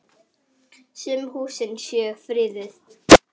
Sum húsin séu friðuð.